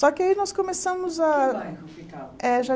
Só que aí nós começamos a... Que bairro que ficava? Eh